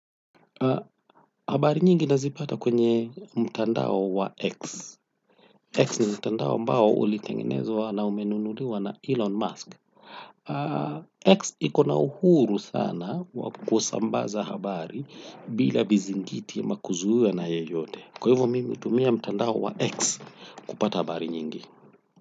Habari nyingi nazipata kwenye mtandao wa X. X ni mtandao mbao ulitengenezwa na umenunuliwa na Elon Musk. X ikona uhuru sana wakosambaza habari bila vizingiti ama kuzuiwa na yeyote. Kwa hivyo mimi hutumia mtandao wa X kupata habari nyingi.